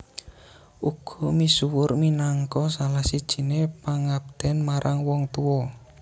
Uga misuwur minangka salah sijiné pangabden marang wong tua